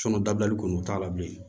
dabilali kɔni o t'a la bilen